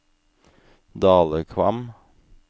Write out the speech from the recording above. Dalekvam